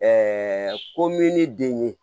komin ne den ye